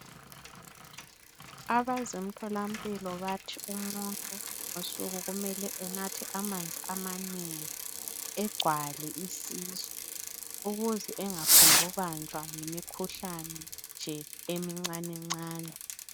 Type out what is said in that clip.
Abezemtholampilo bathi umuntu ngosuku kumele anathe amanzi amanengi, agcwale isisu ukuze angaphongubanjwa yimikhuhlane nje, emincanencane.